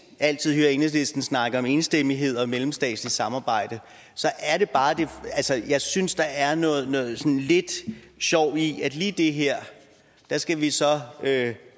altid enhedslisten snakke om enstemmighed og mellemstatsligt samarbejde altså jeg synes der er noget noget sådan lidt sjovt i at lige med det her skal vi så